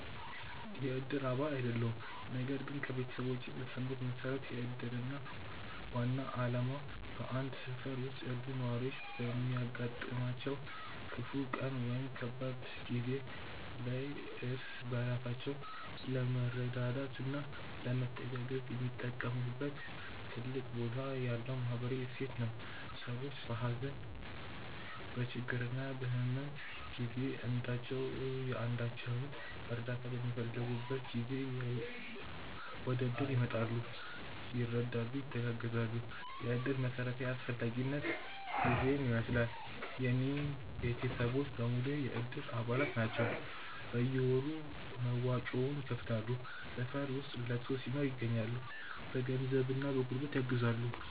የእድር አባል አይደለሁም ነገር ግን ከቤተሰቦቼ በሰማሁት መሠረት የእድር ዋና ዓላማ በአንድ ሠፈር ውስጥ ያሉ ነዋሪዎች በሚያጋጥማቸው ክፉ ቀን ወይም ከባድ ጊዜ ላይ እርስ በራሳቸው ለመረዳዳትና ለመተጋገዝ የሚጠቀሙበት ትልቅ ቦታ ያለው ማኅበራዊ እሴት ነው። ሰዎች በሀዘን፣ በችግርና በሕመም ጊዜ አንዳቸው የአንዳቸውን እርዳታ በሚፈልጉበት ጊዜ ወደእድር ይመጣሉ፤ ይረዳሉ፣ ይተጋገዛሉ። የእድር መሠረታዊ አስፈላጊነት ይሔን ይመሥላል። የእኔ ቤተሰቦች በሙሉ የእድር አባላት ናቸው ናቸው። በየወሩ መዋጮውን ይከፍላሉ፣ ሠፈር ውስጥ ለቅሶ ሲኖር ይገኛሉ። በገንዘብና በጉልበት ያግዛሉ።